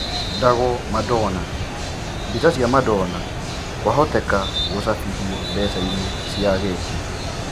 Ndago Madona: Mbica cia Madona kũahoteka gũcabithio mbecainĩ cia Ageti.